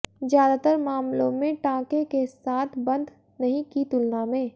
ज्यादातर मामलों में टांके के साथ बंद नहीं की तुलना में